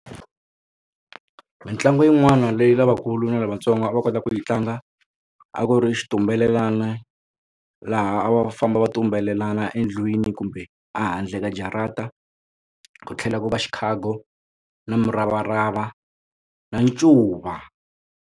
Mitlangu yin'wana leyi lavakulu na lavatsongo va kota ku yi tlanga a ku ri xitumbelelana laha a va famba va xitumbelelana endlwini kumbe a handle ka jarata ku tlhela ku va xikhago na muravarava na ncuva.